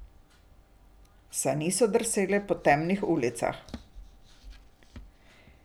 Sani so drsele po temnih ulicah.